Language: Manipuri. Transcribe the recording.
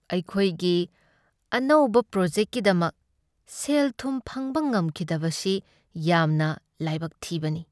ꯑꯩꯈꯣꯏꯒꯤ ꯑꯅꯧꯕ ꯄ꯭ꯔꯣꯖꯦꯛꯀꯤꯗꯃꯛ ꯁꯦꯜ ꯊꯨꯝ ꯐꯪꯕ ꯉꯝꯈꯤꯗꯕꯁꯤ ꯌꯥꯝꯅ ꯂꯥꯏꯕꯛ ꯊꯤꯕꯅꯤ ꯫